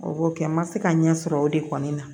O b'o kɛ n ma se ka ɲɛ sɔrɔ o de kɔni na